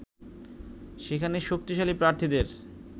সেখানে শক্তিশালী প্রার্থীদের